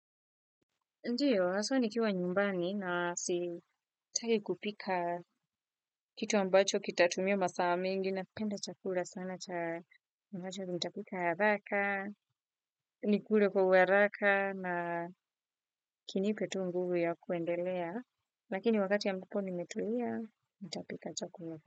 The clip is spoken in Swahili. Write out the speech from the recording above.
Ndiyo, haswa nikiwa nyumbani na sitaki kupika kitu ambacho kitatumia masaa mengi na penda chakula sana cha ambacho nitapika haraka, nikule kwa uharaka na kinipe tu nguvu ya kuendelea, lakini wakati ambapo nimetulia, nitapika chakula.